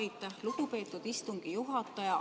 Aitäh, lugupeetud istungi juhataja!